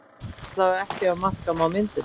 Allavega ekki ef marka má myndirnar